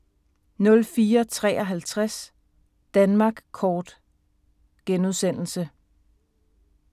04:53: Danmark Kort *